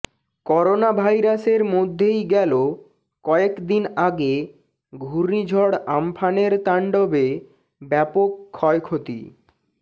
করোনাভাইরাসের মধ্যেই গেল কয়েক দিন আগে ঘূর্ণিঝড় আমফানের তাণ্ডবে ব্যাপক ক্ষয়ক্ষতি